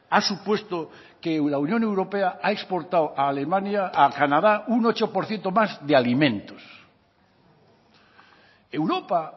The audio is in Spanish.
ha supuesto que la unión europea ha exportado a alemania a canadá un ocho por ciento más de alimentos europa